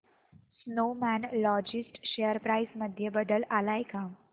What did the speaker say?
Snowman logistics share price मध्ये बदल आलाय का